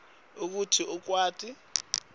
kute kutsi ukwati